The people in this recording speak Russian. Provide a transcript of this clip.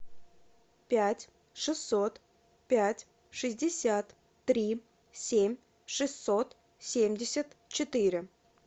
пять шестьсот пять шестьдесят три семь шестьсот семьдесят четыре